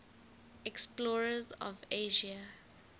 explorers of asia